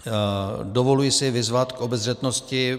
Dovoluji si vyzvat k obezřetnosti.